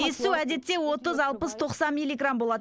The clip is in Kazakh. иіссу әдетте отыз алпыс тоқсан милиграмм болады